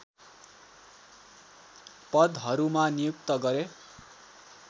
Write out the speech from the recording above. पदहरूमा नियुक्त गरे